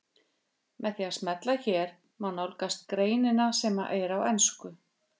Með því að smella hér má nálgast greinina sem er á ensku.